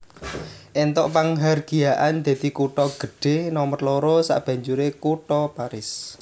Entuk panghargyaan dadi kutha gedhe nomer loro sabanjure kutha Paris